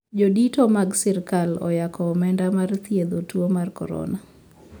Jodito mag sirkal oyako omenda mar thiedho tuo mar corona